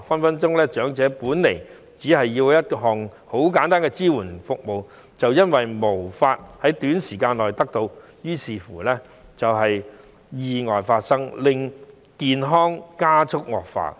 長者可能本身只需要一項簡單的支援服務，但由於無法在短時間內得到，於是便發生了意外，令到他的健康加速惡化。